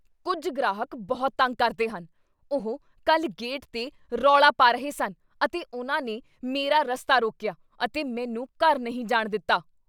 ਕੁੱਝ ਗ੍ਰਾਹਕ ਬਹੁਤ ਤੰਗ ਕਰਦੇ ਹਨ। ਉਹ ਕੱਲ੍ਹ ਗੇਟ 'ਤੇ ਰੌਲਾ ਪਾ ਰਹੇ ਸਨ ਅਤੇ ਉਹਨਾਂ ਨੇ ਮੇਰਾ ਰਸਤਾ ਰੋਕੀਆ, ਅਤੇ ਮੈਨੂੰ ਘਰ ਨਹੀਂ ਜਾਣ ਦਿੱਤਾ!